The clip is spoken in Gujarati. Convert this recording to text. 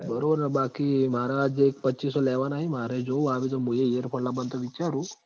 બરોબર ન બાકી માર જે પચીસો લેવાના હી માર એ જોવું આવી તો મુંય earphone લાબબાનું તો વિચારું હું